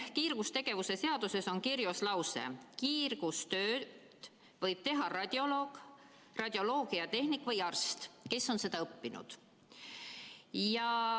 Kiirgusseaduses on kirjas lause, et kiirgustööd võib teha radioloog, radioloogiatehnik või arst, kes on seda õppinud.